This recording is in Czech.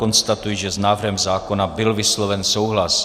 Konstatuji, že s návrhem zákona byl vysloven souhlas.